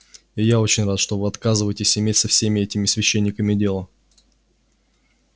и я очень рад что вы отказываетесь иметь со всеми этими священниками дело